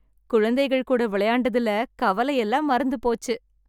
குழந்தைகள் கூட விளையாண்டதுல கவலை எல்லாம் மறந்து போச்சு.